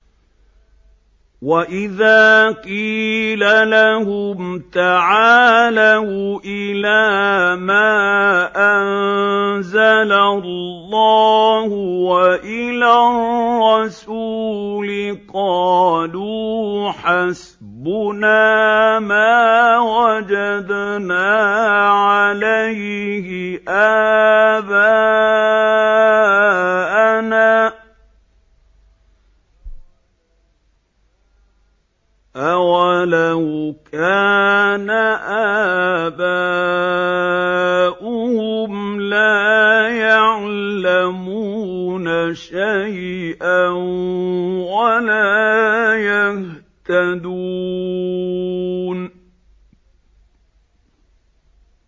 وَإِذَا قِيلَ لَهُمْ تَعَالَوْا إِلَىٰ مَا أَنزَلَ اللَّهُ وَإِلَى الرَّسُولِ قَالُوا حَسْبُنَا مَا وَجَدْنَا عَلَيْهِ آبَاءَنَا ۚ أَوَلَوْ كَانَ آبَاؤُهُمْ لَا يَعْلَمُونَ شَيْئًا وَلَا يَهْتَدُونَ